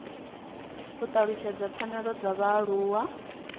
u talutshedza pfanelo dza vhaaluwa